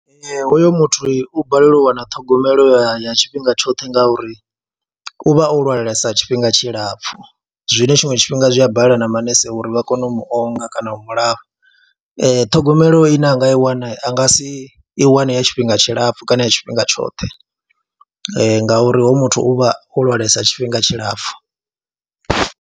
Ee, hoyo muthu u balelwa u wana ṱhogomelo ya ya tshifhinga tshoṱhe ngauri u vha o lwalesa tshifhinga tshilapfhu zwine tshinwe tshifhinga zwi a balela na manese uri vha kone u mu onga kana u mu lafha ṱhogomelo ine a nga i wana a nga si i wane ya tshifhinga tshilapfhu kana ya tshifhinga tshoṱhe ngauri hoyu muthu u vha o lwalesa tshifhinga tshilapfhu.